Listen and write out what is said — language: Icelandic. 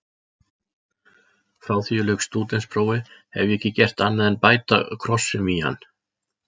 Frá því ég lauk stúdentsprófi hef ég ekki gert annað en bæta krossum í hann.